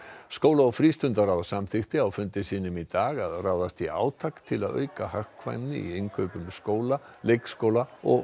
skóla og samþykkti á fundi sínum í dag að ráðast í átak til að auka hagkvæmni í innkaupum skóla leikskóla og